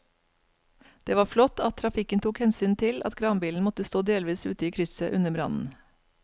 Det var flott at trafikken tok hensyn til at kranbilen måtte stå delvis ute i krysset under brannen.